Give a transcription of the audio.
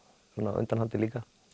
á undanhaldi líka